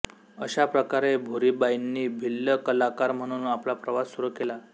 अशा प्रकारे भुरीबाईंनी भिल्ल कलाकार म्हणून आपला प्रवास सुरू केला